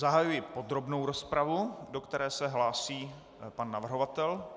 Zahajuji podrobnou rozpravu, do které se hlásí pan navrhovatel.